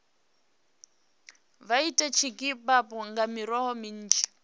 vha ite dzikhebabu nga miroho minzhi